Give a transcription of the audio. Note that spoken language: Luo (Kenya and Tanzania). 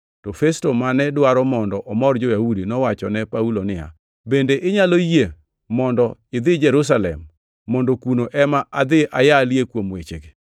To Festo mane dwaro mondo omor jo-Yahudi nowachone Paulo niya, “Bende inyalo yie mondo idhi Jerusalem mondo kuno ema adhi ayalie kuom wechegi?”